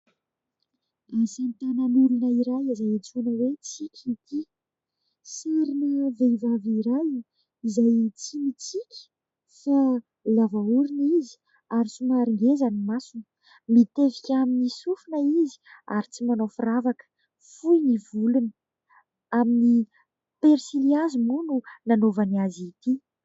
Asa tanan' olona iray izay antsoina hoe Tsiky ity. Sarina vehivavy iray izay tsy mitsiky fa lava orona izy ary somary ngeza ny masony. Mitevika amin'ny sofina izy ary tsy manao firavaka. Fohy ny volony. Amin'ny persilihazo moa no nanaovany azy ity.